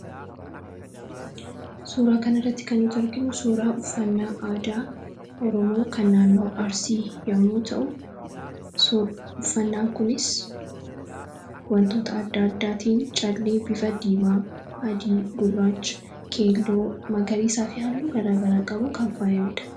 suuraa kana irratti kan yetu erginu suuraa uffannaa aadaa oromoo kan naannoo arsii yommuu ta'u uffannaan kunis wantoota aada aadaatiin callii bifa diimaa adii gurraacha keelloo magariiisaa fi halluu garaagalaa qabuun kan faa'imeedha